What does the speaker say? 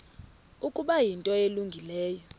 ukuba yinto elungileyo